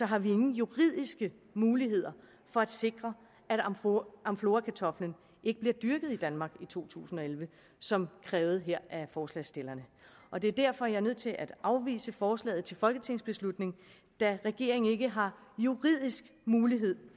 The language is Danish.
har vi ingen juridiske muligheder for at sikre at amflorakartoflen ikke bliver dyrket i danmark i to tusind og elleve som krævet her af forslagsstillerne og det er derfor jeg er nødt til at afvise forslaget til folketingsbeslutning da regeringen ikke har juridisk mulighed